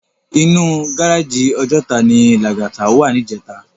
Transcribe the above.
Inú gáráji Òjòtá ni Lagata wá nijètá